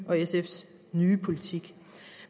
og sfs nye politik